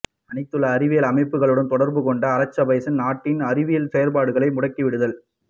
அனைத்துலக அறிவியல் அமைப்புகளுடன் தொடர்பு கொண்டு அசர்பைசான் நாட்டின் அறிவியல் செயற்பாடுகளை முடுக்கி விடுதல்